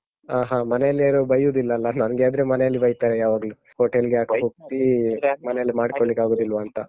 ಹ, ಹ. ಮನೆಯಲ್ಲಿ ಯಾರೂ ಬಯ್ಯುವುದಿಲ್ಲಲ್ಲ? ನನ್ಗೆ ಆದ್ರೆ ಮನೆಯಲ್ಲಿ ಬೈತಾರೆ ಯಾವಾಗ್ಲೂ hotel ಗೆ ಯಾಕೆ ಹೋಗ್ತೀ? ಮನೆಯಲ್ಲೇ ಮಾಡ್ಕೊಳ್ಳಿಕ್ಕೆ ಆಗುವುದಿಲ್ವಾಂತ?